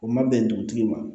O ma bɛn dugutigi ma